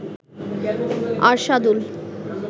Arshadul